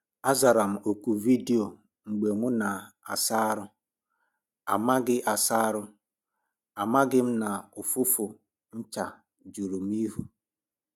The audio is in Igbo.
A zara m oku vidio mgbe mụ na - asa arụ, amaghị asa arụ, amaghị m na ụfụfụ ncha juru m ihu.